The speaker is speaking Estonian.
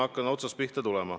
Hakkan siis otsast pihta.